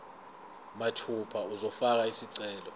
mathupha uzofaka isicelo